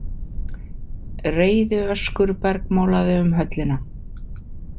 Reiðiöskur bergmálaði um höllina.